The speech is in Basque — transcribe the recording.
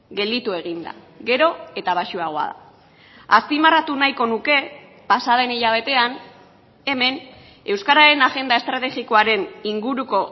gelditu egin da gero eta baxuagoa da azpimarratu nahiko nuke pasa den hilabetean hemen euskararen agenda estrategikoaren inguruko